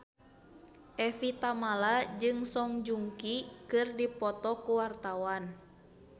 Evie Tamala jeung Song Joong Ki keur dipoto ku wartawan